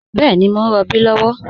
Bẹẹni, mọ̀ n rọbí lọwọ